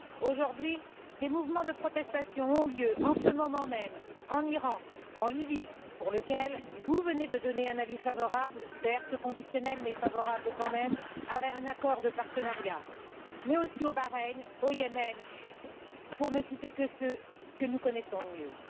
Aujourd'hui, des mouvements de protestation ont lieu, en ce moment même, en Iran, en Lybie, à l'égard de laquelle vous venez de donner un avis favorable, certes conditionnel, mais favorable, quand même, à un accord de partenariat, mais aussi au Bahreïn, au Yémen, pour ne citer que ceux que nous connaissons le mieux.